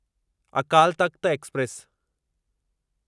Akal Takht express